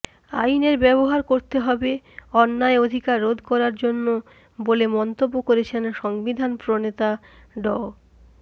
আইনের ব্যবহার করতে হবে অন্যায় অধিকার রোধ করার জন্য বলে মন্তব্য করেছেন সংবিধান প্রণেতা ড